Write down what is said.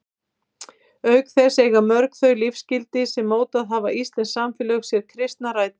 Auk þess eiga mörg þau lífsgildi sem mótað hafa íslenskt samfélag sér kristnar rætur.